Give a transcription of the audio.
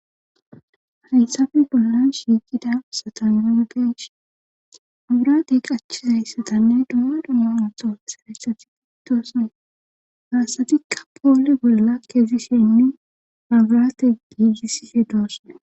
Falinsafe bollan shiiqida satanrageshi aburate qachizayssatanne duma dhama antoo sarayssatiidoose gaassatikka poole bolla keezi shennu agrate giigisise doosne